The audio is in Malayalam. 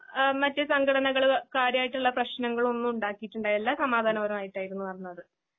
എഹ് മറ്റ്സംഘടനകള് കാര്യായിട്ടുള്ളപ്രശ്നങ്ങളൊന്നും ഉണ്ടാക്കിട്ടുണ്ടായില്ല. സമാധാനപരമായിട്ടാരുന്നുനടന്നത്.